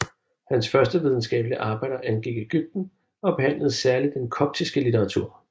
Hans første videnskabelige arbejder angik Ægypten og behandlede særlig den koptiske litteratur